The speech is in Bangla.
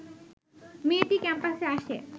মেয়েটি ক্যাম্পাসে আসে